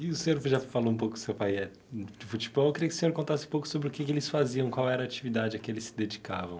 E o senhor já falou um pouco que seu pai é do futebol, eu queria que o senhor contasse um pouco sobre o que que eles faziam, qual era a atividade a que eles se dedicavam.